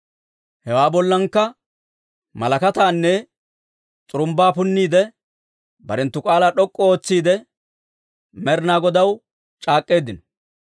Hewaa bollankka malakkataanne s'urumbbaa punniidde, barenttu k'aalaa d'ok'k'u ootsiide, Med'inaa Godaw c'aak'k'eeddino.